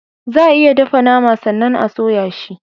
Za a iya dafa nama sannan a soya shi.